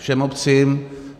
Všem obcím.